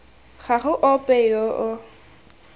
ga go ope yo o